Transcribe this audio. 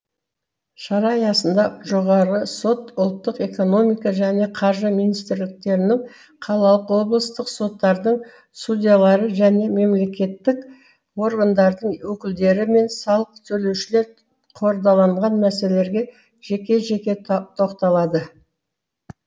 шара аясында жоғарғы сот ұлттық экономика және қаржы министрліктерінің қалалық облыстық соттардың судьялары және мемлекеттік органдардың өкілдері мен салық төлеушілер қордаланған мәселелерге жеке жеке тоқталды